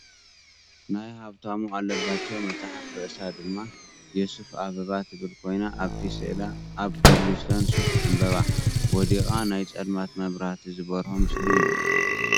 ናይ ሃብታሙ ኣለባቸው መፅሓፍ ርእሳ ድማ የሱፍ አበባ ትብል ኮይና ኣብቲ ስእላ ኣብ ኮብልስቶን ሱፍ ዕምበባ ወዲቃ ናይ ፀልማት መብራህቲ ዝበረሆ ምስሊ እዩ።